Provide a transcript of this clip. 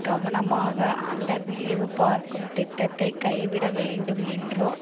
கவனமாக அந்த வேவுபார்க்கும் திட்டத்தை கைவிட வேண்டும் என்றோ